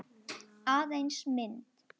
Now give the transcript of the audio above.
Aðeins mynd.